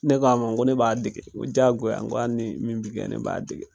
Ne k'a ma ko ne b'a dege n ko diyagoya hali ni min bɛ kɛ ne b'a dege